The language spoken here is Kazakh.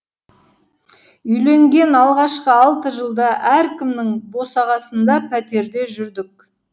үйленген алғашқы алты жылда әркімнің босағасында пәтерде жүрдік